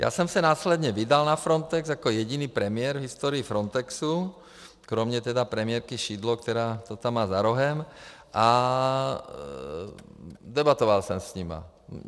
Já jsem se následně vydal na Frontex jako jediný premiér v historii Frontexu, kromě tedy premiérky Szydło, která to tam má za rohem, a debatoval jsem s nimi.